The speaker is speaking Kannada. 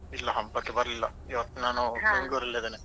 ಇಲ್ಲ ಹಬ್ಬಕ್ಕೆ ಬರ್ಲಿಲ್ಲ ಇವತ್ತು ನಾನು Mangalore ರಲ್ಲೇ ಇದ್ದೇನೆ.